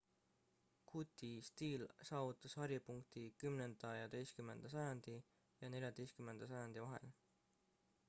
gooti stiil saavutas haripunkti 10.–11. sajandi ja 14. sajandi vahel